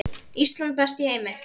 Ísland, best í heimi.